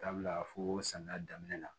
Dabila foo samiya daminɛ